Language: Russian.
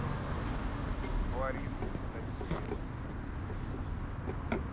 лариски федосеевой